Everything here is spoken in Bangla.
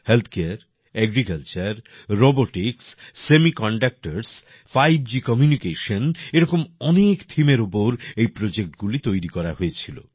health care agriculture robotics semiconductors 5G communication এই রকম অনেক থিমের উপর এই প্রোজেক্টগুলি তৈরি করা হয়েছিল